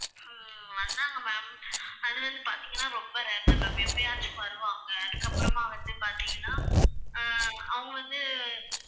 அஹ் வந்தாங்க ma'am. அது வந்து பார்த்தீங்கன்னா ரொம்ப rare தான் ma'am எப்பயாச்சும் வருவாங்க அதுக்கப்புறமா வந்து பார்த்தீங்கன்னா அஹ் அவங்க வந்து